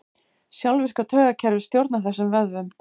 Sjálfvirka taugakerfið stjórnar þessum vöðvum.